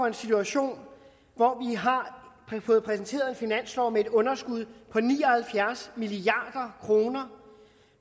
en situation hvor vi har fået præsenteret en finanslov med et underskud på ni og halvfjerds milliard kr